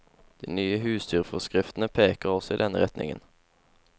De nye husdyrforskriftene peker også i denne retningen.